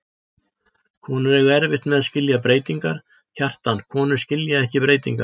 Konur eiga erfitt með að skilja breytingar, Kjartan, konur skilja ekki breytingar.